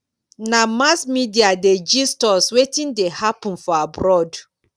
na mass media dey gist us wetin dey happen for abroad